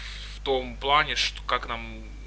в том плане что как нам